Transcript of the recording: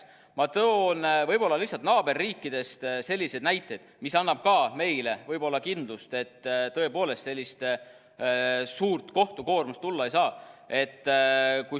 Ma toon naaberriikidest sellised näited, mis annavad ka meile võib-olla kindlust, et tõepoolest sellist suurt kohtukoormust tulla ei saa.